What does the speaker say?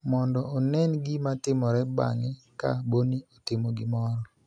mondo onen gima timore bang�e ka Boni otimo gimoro.